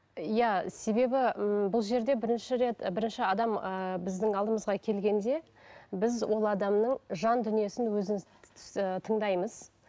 иә себебі ммм бұл жерде бірінші рет і бірінші адам ы біздің алдымызға келгенде біз ол адамның жан дүниесін өзіміз ы тыңдаймыз